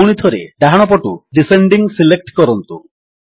ପୁଣିଥରେ ଡାହାଣପଟୁ descending select କରନ୍ତୁ